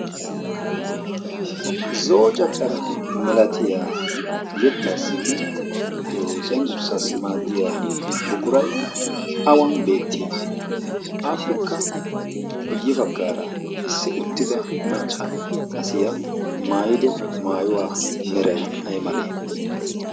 zo'o caccara milatiyaa yettaassinne cenggurssaassi maaddiya buqurai awan beettii? aappekka kuye baggaara issi uttida macca asiya maayido maayuwaa meray ay malee?